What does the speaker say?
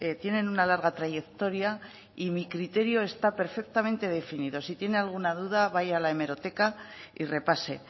tienen una larga trayectoria y mi criterio está perfectamente definido si tiene alguna duda vaya a la hemeroteca y repase